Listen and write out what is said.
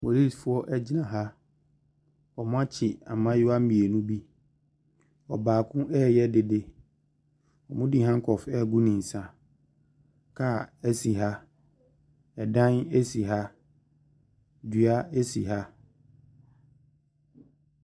Polisifoɔ ɛgyina ha, ɔmo akye mmaayewa mmienu bi, ɔbaako ɛɛyɛ dede, ɔmo de hankɔf ɛɛgu ne nsa. Kaa ɛsi ha, ɛdan ɛsi ha, dua ɛsi ha.